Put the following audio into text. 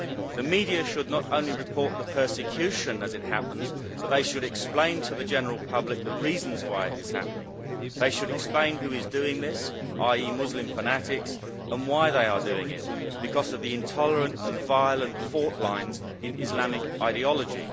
The media should not only report the persecution as it happens but they should explain to the general public the reasons why it is happening. They should explain who is doing this, namely Muslim fanatics, and why they are doing it because of the intolerant and violent fault lines in Islamic ideology.